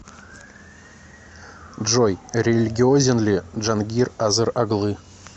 джой религиозен ли джангир азер оглы